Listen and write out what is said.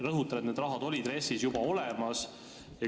Rõhutan, et see raha oli juba RES-is olemas.